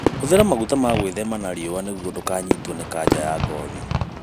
Hũthĩra maguta ma gwĩthema na riũa nĩguo ndũkanyitwo ni kanja ya ngothi.